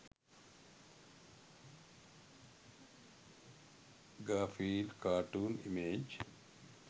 garfield cartoon image